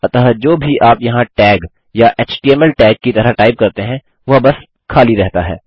अतः जो भी आप यहाँ टैग या एचटीएमएल टैग की तरह टाइप करते हैं वह बस खाली रहता है